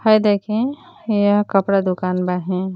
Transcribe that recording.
हई देखीं यह कपड़ा दुकान बाहिन।